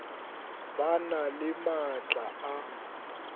ba na le maatla a